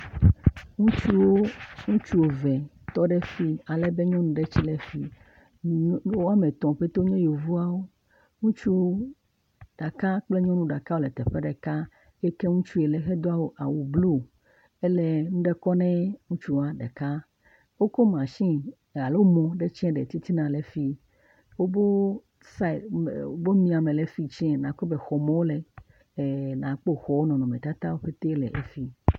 Ŋutsuwo, ŋutsu eve tɔ ɖe fii. Alebe nyɔnu ɖe tsɛ le fii. Nyu. Woame tɔ̃ ƒete wonye Yevuawo. Ŋutsuwo ɖeka kple nyɔnu ɖeka wole teƒe ɖeka hete ŋutsu yi le hedo awu blu hele nu ɖe kɔ nɛɛ ŋutsua ɖeka. Wokɔ mashini alo mɔ ɖe tsɛ le titina le fii. Wobo saɛt, ɛɛ, wobo nyi ame le fii tsɛɛ nàkpɔ be xɔɔme wole. ɛɛɛɛ Nàkpɔ xɔɔɔ wo nɔnɔmetata le efii.